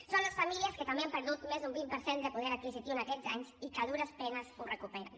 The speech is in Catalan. són les famílies que també han perdut més d’un vint per cent de poder adquisitiu en aquests anys i que a dures penes el recuperen